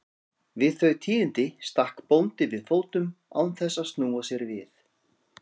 Við þau tíðindi stakk bóndi við fótum án þess að snúa sér við.